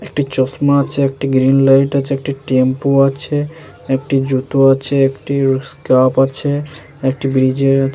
একটি চশমা আছেএকটি গ্রীন লাইট আছেএকটি টেম্পো আছে একটি জুতো আছেএকটি স্কার্ফ আছে একটি ব্রীজ -এর --